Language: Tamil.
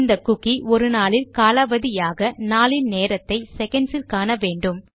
இந்த குக்கி ஒரு நாளில் காலாவதி ஆக நாளின் நேரத்தை செகண்ட்ஸ் இல் காண வேண்டும்